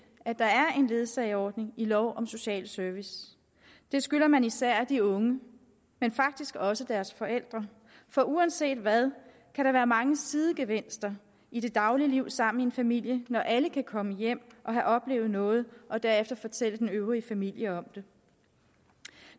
at der er en ledsageordning i lov om social service det skylder man især de unge men faktisk også deres forældre for uanset hvad kan der være mange sidegevinster i det daglige liv sammen med familien når alle kan komme hjem og have oplevet noget og derefter fortælle den øvrige familie om det